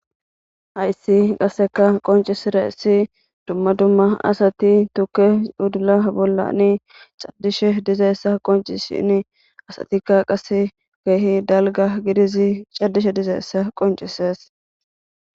hayssi qasseka qoncisira issi dumma dumma asati tukke cudula bollani caddishe dizaessa qoncisini asatika qase gaehi dalga gidizi caddishe dizaessa qoncises